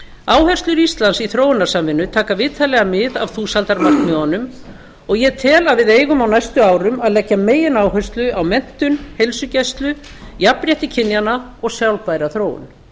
áherslur íslands í þróunarsamvinnu taka vitanlega mið af þúsaldarmarkmiðunum og ég tel að við eigum á næstu árum að leggja megináherslu á menntun heilsugæslu jafnrétti kynjanna og sjálfbæra þróun